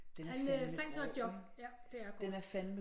Han øh fandt sig et job ikke ja det er groft